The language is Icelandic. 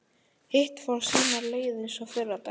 Hitt fór sína leið eins og fyrri daginn.